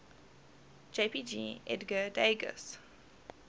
jpg edgar degas